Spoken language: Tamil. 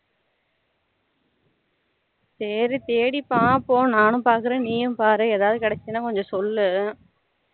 சரி தேடி பாப்போம் நானும் பாக்குரேன் நீயும் பாரு ஏதாவது கிடைச்சதுனா கொஞ்சம் சொல்லு